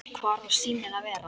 Hvar á síminn að vera?